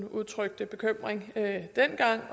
udtrykte bekymring